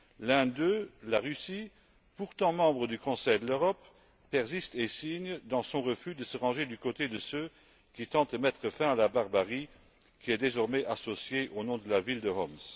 L'un d'eux, la Russie, pourtant membre du Conseil de l'Europe, persiste et signe dans son refus de se ranger du côté de ceux qui tentent de mettre fin à la barbarie qui est désormais associée au nom de la ville de Homs.